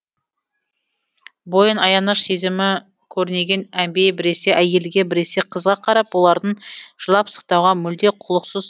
бойын аяныш сезімі көрнеген әмбие біресе әйелге біресе қызға қарап олардың жылап сықтауға мүлде құлықсыз